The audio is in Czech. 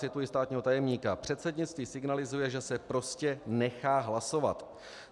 Cituji státního tajemníka: "Předsednictví signalizuje, že se prostě nechá hlasovat."